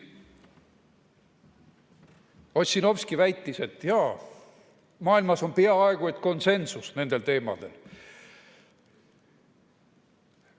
Ossinovski väitis, et jaa, maailmas on peaaegu et konsensus nendel teemadel.